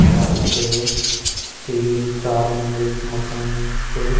मस्त तीन चार मंजिल मकान सो।